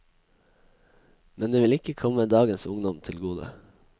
Men det vil ikke komme dagens ungdom til gode.